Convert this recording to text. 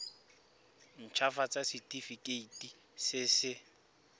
nt hafatsa setefikeiti se se